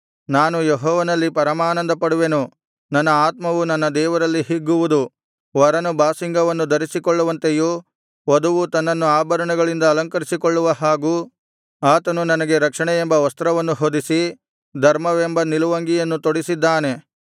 ನಾನು ಯೆಹೋವನಲ್ಲಿ ಪರಮಾನಂದಪಡುವೆನು ನನ್ನ ಆತ್ಮವು ನನ್ನ ದೇವರಲ್ಲಿ ಹಿಗ್ಗುವುದು ವರನು ಬಾಸಿಂಗವನ್ನು ಧರಿಸಿಕೊಳ್ಳುವಂತೆಯೂ ವಧುವು ತನ್ನನ್ನು ಆಭರಣಗಳಿಂದ ಅಲಂಕರಿಸಿಕೊಳ್ಳುವ ಹಾಗೂ ಆತನು ನನಗೆ ರಕ್ಷಣೆಯೆಂಬ ವಸ್ತ್ರವನ್ನು ಹೊದಿಸಿ ಧರ್ಮವೆಂಬ ನಿಲುವಂಗಿಯನ್ನು ತೊಡಿಸಿದ್ದಾನೆ